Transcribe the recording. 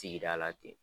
Sigida la ten